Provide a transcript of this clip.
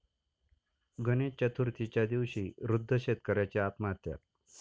गणेश चतुर्थीच्या दिवशी वृद्ध शेतकऱ्याची आत्महत्या